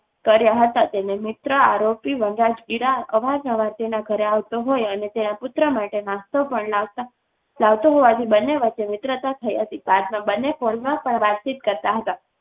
કર્યા હતા તેને મિત્ર આરોપી વનરાજગીરા અવારનવાર તેના ઘરે આવતો હોય અને તેના પુત્ર માટે નાસ્તો પણ લાવતા લાવતો હોવાથી બંને વચ્ચે મિત્રતા થઈ હતી. બાદમાં બંને ફોન પણ વાતચીત કરતા.